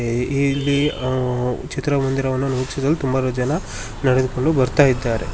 A ಇಲ್ಲಿ ಆ ಚಿತ್ರಮಂದಿರವನ್ನು ನೋಡಲು ತುಂಬಾ ಜನ ನಡೆದುಕೊಂಡು ಬರ್ತಾ ಇದ್ದಾರೆ.